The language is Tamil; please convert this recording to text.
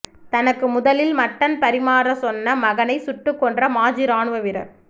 தனக்கு முதலில் மட்டன் பரிமாறச் சொன்ன மகனை சுட்டுக் கொன்ற மாஜி ராணுவ வீரர்